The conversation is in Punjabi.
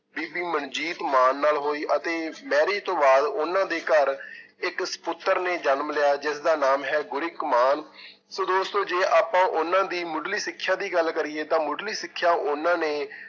ਬੀਬੀ ਮਨਜੀਤ ਮਾਨ ਨਾਲ ਹੋਈ ਅਤੇ ਮੈਰੀ ਤੋਂ ਬਾਅਦ ਉਹਨਾਂ ਦੇ ਘਰ ਇੱਕ ਸਪੁੱਤਰ ਨੇ ਜਨਮ ਲਿਆ ਜਿਸਦਾ ਨਾਮ ਹੈ ਗੁਰਿਕ ਮਾਨ ਸੋ ਦੋਸਤੋ ਜੇ ਆਪਾਂ ਉਹਨਾਂ ਦੀ ਮੁਢਲੀ ਸਿੱਖਿਆ ਦੀ ਗੱਲ ਕਰੀਏ ਤਾਂ ਮੁਢਲੀ ਸਿੱਖਿਆ ਉਹਨਾਂ ਨੇ